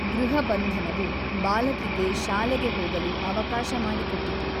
ಗೃಹಬಂಧನವು ಬಾಲಕಿಗೆ ಶಾಲೆಗೆ ಹೋಗಲು ಅವಕಾಶ ಮಾಡಿಕೊಟ್ಟಿತು.